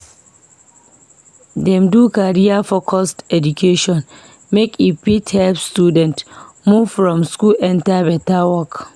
Dem do career-focused education make e fit help students move from school enter beta work